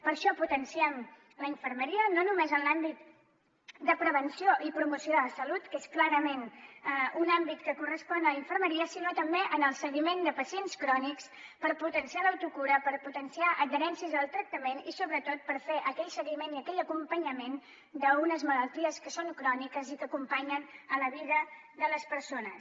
per això potenciem la infermeria no només en l’àmbit de prevenció i promoció de la salut que és clarament un àmbit que correspon a infermeria sinó també en el seguiment de pacients crònics per potenciar l’autocura per potenciar adherències al tractament i sobretot per fer aquell seguiment i aquell acompanyament d’unes malalties que són cròniques i que acompanyen la vida de les persones